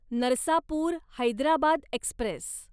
Narsapur Hyderabad Express